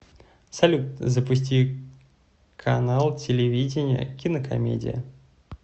салют запусти канал телевидения кинокомедия